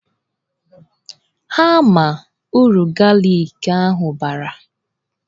Ha ama uru galik ahụ bara?